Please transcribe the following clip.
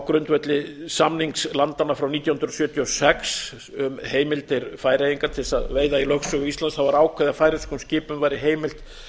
grundvelli samnings landanna frá nítján hundruð sjötíu og sex um heimildir færeyinga til þess að veiða í lögsögu íslands var ákveðið að færeyskum skipum væri heimilt